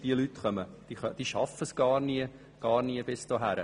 Diese Leute schaffen es gar nie bis hierher.